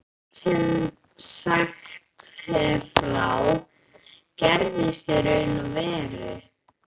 Allt sem sagt er frá, gerðist í raun og veru.